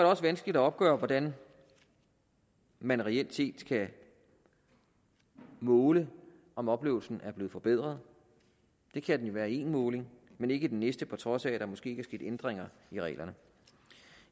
også vanskeligt at opgøre hvordan man reelt set skal måle om oplevelsen er blevet forbedret det kan den være i en måling men ikke i den næste på trods af at der måske ikke er sket ændringer i reglerne